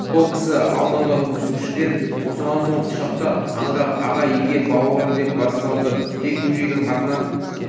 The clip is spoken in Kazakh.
сол кісі алдыңғы көрісушіден босаған соң құшақтап аңырап аға-екем бауырым деп бас салды тек бөжейдің қатыны